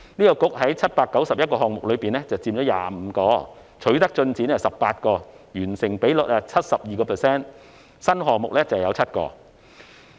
該局在791個項目中佔25個，取得進展有18個，完成比率是 72%， 而新項目則有7個。